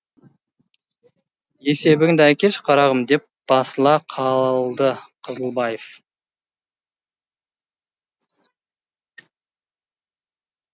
есебіңді әкелші қарғым деп басыла қалды қызылбаев